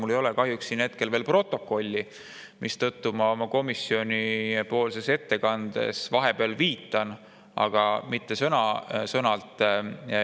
Mul ei ole kahjuks hetkel veel seda siin käepärast, mistõttu ma oma ettekandes küll vahepeal viitan sellele, aga mitte sõna-sõnalt.